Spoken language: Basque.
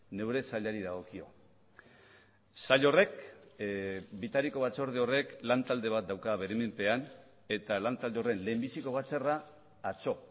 neure sailari dagokio sail horrek bitariko batzorde horrek lan talde bat dauka bere menpean eta lan talde horren lehenbiziko batzarra atzo